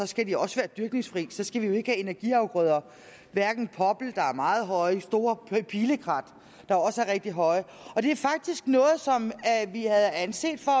skal de også være dyrkningsfri så skal vi jo ikke have energiafgrøder hverken poppel der er meget høje eller store pilekrat der også er rigtig høje og det er faktisk noget som vi havde anset for